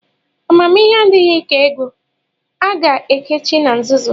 Amamihe adịghị ka ego a ga-ekechi na nzuzo.